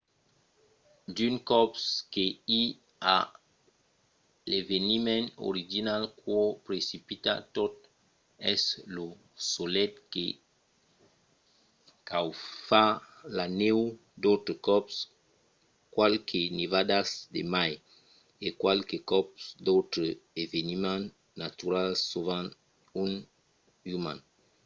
d'unes còps que i a l'eveniment original qu'o precipita tot es lo solelh que caufa la nèu d'autres còps qualques nevadas de mai e qualques còps d'autres eveniments naturals sovent un uman